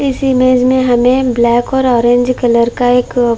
इस इमेज में हमें ब्लैक और ऑरेंज कलर का एक--